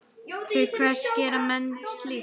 Til hvers gera menn slíkt?